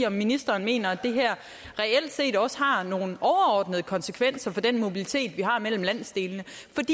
om ministeren mener at det her reelt set også har nogle overordnede konsekvenser for den mobilitet vi har mellem landsdelene